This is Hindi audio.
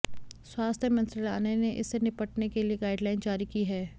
स्वास्थ्य मंत्रालय ने इससे निपटने के लिए गाइड लाइन जारी की है